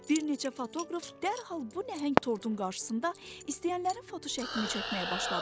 Bir neçə fotoqraf dərhal bu nəhəng tortun qarşısında istəyənlərin fotoşəklini çəkməyə başladı.